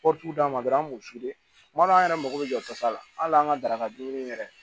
Kɔtiw d'a ma dɔrɔn an b'u f'u ye kuma dɔw la an yɛrɛ mako bɛ jɔkɔsa la hali an ka daraka dunni yɛrɛ